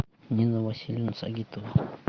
нина васильевна сагитова